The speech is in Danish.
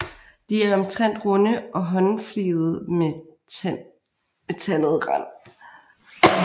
De er omtrent runde og håndfligede med tandet rand